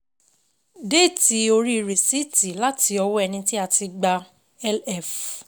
Déètì orí rìsíìtì láti ọwọ́ ẹni tí a ti gbà á LF.